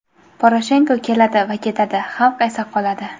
Poroshenko keladi va ketadi, xalq esa qoladi.